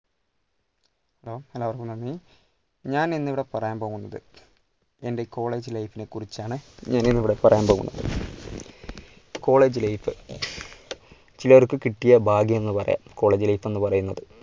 hello എല്ലാവർക്കും നന്ദി, ഞാൻ ഇന്നിവിടെ പറയാൻ പോകുന്നത് എൻ്റെ college life നെ കുറിച്ചാണ്. ഇവിടെ പറയാൻ പോകുന്നത്. college life ചിലർക്ക് കിട്ടിയ ഭാഗ്യം എന്ന് പറയാം colllege life എന്ന് പറയുന്നത്.